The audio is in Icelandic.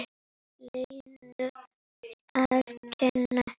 Lenu að kenna.